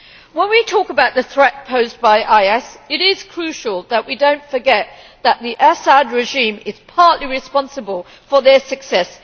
When we talk about the threat posed by IS it is crucial that we do not forget that the Assad regime is partly responsible for their success.